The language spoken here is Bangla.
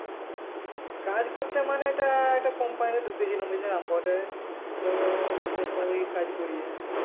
কাজ করতে মানে এটা একটা company তে ডুকেছিলাম ঐযে amboder এর তো company এর কাজ করিয়ে,